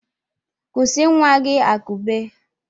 Kụsị nwa gị akụbe!